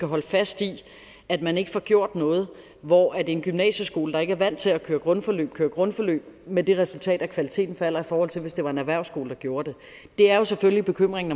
holde fast i at man ikke får gjort noget hvor en gymnasieskole der ikke er vant til at køre grundforløb kører grundforløb med det resultat at kvaliteten falder i forhold til hvis det var en erhvervsskole der gjorde det det er selvfølgelig bekymringen